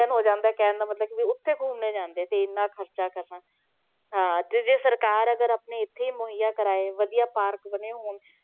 ~ਰੰਜਨ ਹੋ ਜਾਂਦਾ ਕਹਿਣ ਦਾ ਮਤਲਬ ਕਿ ਵੀ ਉੱਥੇ ਘੁੰਮਣੇ ਜਾਂਦੇ ਤੇ ਇੰਨਾ ਖ਼ਰਚਾ ਕਰਨਾ, ਹਾਂ ਤੇ ਜੇ ਸਰਕਾਰ ਅਗਰ ਆਪਣੀ ਇੱਥੇ ਹੀ ਮੁਹੱਈਆਂ ਕਰਵਾਏ, ਵਧੀਆ park ਬਣੇ ਹੋਣ,